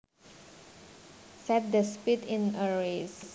Set the speed in a race